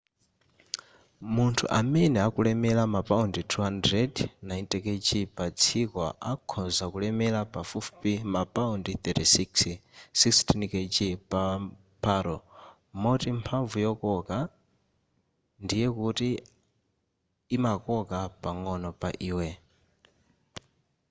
munthu amene akulemera mapaundi 200 90kg pa dziko akhonza kulemera pafupifupi ma paundi 36 16kg pa lo.moti mphamvu yokoka ndiye kuti imakoka pang'ono pa iwe